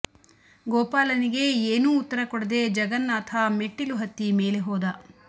ಗೋಪಾಲನಿಗೆ ಏನೂ ಉತ್ತರ ಕೊಡದೆ ಜಗನ್ನಾಥ ಮೆಟ್ಟಿಲು ಹತ್ತಿ ಮೇಲೆ ಹೋದ